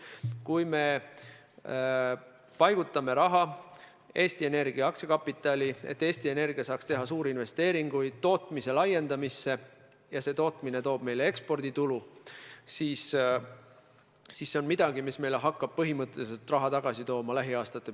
Kui me paigutame raha Eesti Energia aktsiakapitali, et Eesti Energia saaks teha suuri investeeringuid tootmise laiendamisse, ja see tootmine toob meile eksporditulu, siis see on midagi, mis meile hakkab põhimõtteliselt raha lähiaastate perspektiivis tagasi tooma.